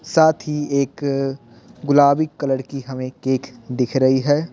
साथ ही एक अ गुलाबी कलर की हमें केक दिख रही है।